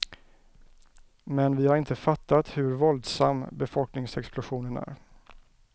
Men vi har inte fattat hur våldsam befolkningsexplosionen är.